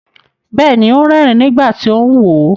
Bẹ́ẹ̀ni, ó ń rẹ́ẹ̀rín nígbà tí ó ń wò ó.